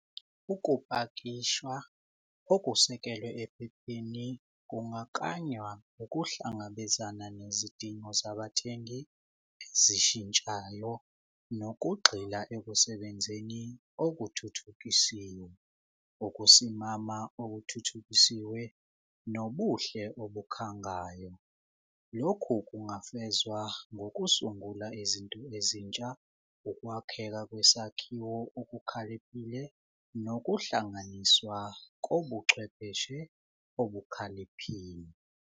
Ukupakishwa okusekelwe ephepheni kungaklanywa ukuhlangabezana nezidingo zabathengi ezishintshayo nokugxila ekusebenzeni okuthuthukisiwe. Ukusimama okuthuthukisiwe nobuhle obukhangayo. Lokhu kungafezwa ngokusungula izinto ezintsha, ukwakheka kwesakhiwo okukhaliphile nokuhlanganiswa kobuchwepheshe obukhaliphile.